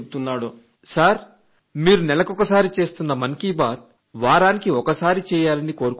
Sandeep Haryana sir మీరు నెలకొకసారి పాల్గొంటున్న మన్ కీ బాత్ వారానికి ఒకసారి ఉండాలని కోరుకుంటున్నాను